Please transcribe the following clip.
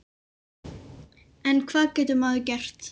En hvað getur maður gert?